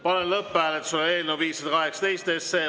Panen lõpphääletusele eelnõu 518.